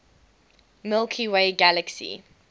milky way galaxy